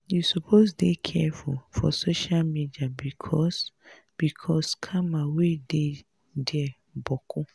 you suppose dey careful for social media bicos bicos scammers wey dey dia boku.